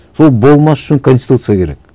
сол болмас үшін конституция керек